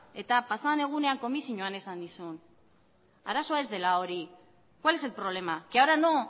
eta pasadan egunean komisioan esan nizun arazoa ez dela hori cuál es el problema que ahora no